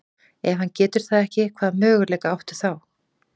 Ef hann getur það ekki, hvaða möguleika áttu þá?